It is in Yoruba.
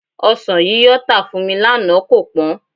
Ọsàn yíyọ tà fún mi lánàá kò pọ́n